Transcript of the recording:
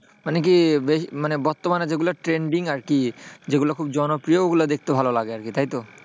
মানে কি মানে বর্তমানে যেগুলা trending আরকি, যেগুলো খুব জনপ্রিয় ওগুলা দেখতে ভালো লাগে আরকি। তাই তো?